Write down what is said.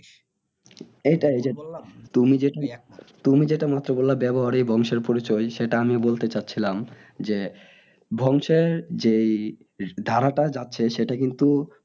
এইটাই যে তুমি যেটা এই মাত্র বললে ব্যবহারই বংশের পরিচয় সেটা আমিও বলতে চাইছিলাম যে বংশের যে এই ধারাটা যাচ্ছে সেটা কিন্তু